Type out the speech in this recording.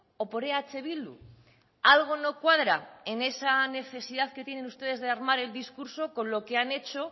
o por eh bildu algo no cuadra en esa necesidad que tienen ustedes de armar el discurso con lo que han hecho